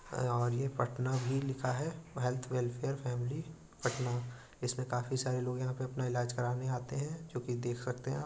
यहाँं पर पटना भी लिखा है। हेल्थ वेलफेयर फैमिली पटना जिसमें काफी सारे लोग अपने इलाज करने आते हैं। जोकि देख सकते है आप --